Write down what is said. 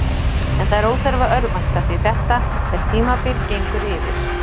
En það er óþarfi að örvænta, því þetta er tímabil gengur yfir.